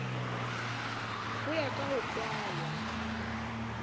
ho ya ka ho kalwa